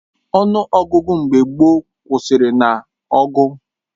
Ọnụ ọgụgụ mgbe gboo kwụsịrị nah ọgụ